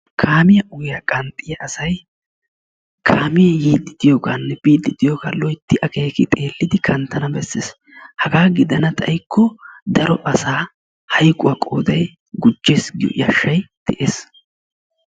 Kaamiyaa ogiyaa qanxiyaa asay kaame yiidi diyoogaanne biidi diyoogga loytti akeeki xeelidi kanttana bessees. Haggaa gidanna xayikko daro asa hayqquwaa qooday gujjees giyo yashshay dees.